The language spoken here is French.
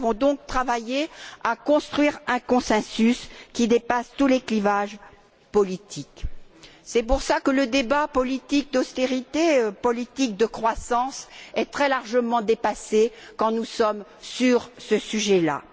Nous avons ainsi travaillé à construire un consensus qui dépasse tous les clivages politiques. C'est pour cela que le débat politique d'austérité et politique de croissance est très largement dépassé quand nous sommes sur ce sujet là.